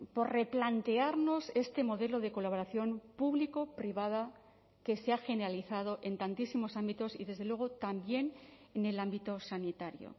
por replantearnos este modelo de colaboración público privada que se ha generalizado en tantísimos ámbitos y desde luego también en el ámbito sanitario